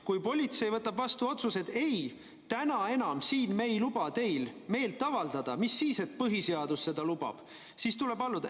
Kui politsei võtab vastu otsuse, et ei, täna me enam ei luba teil siin meelt avaldada, mis siis, et põhiseadus seda lubab, siis tuleb alluda.